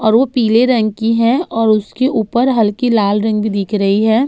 और वो पीले रंग की है और उसके ऊपर हल्की लाल रंग भी दिख रही है।